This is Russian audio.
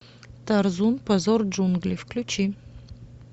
тарзун позор джунглей включи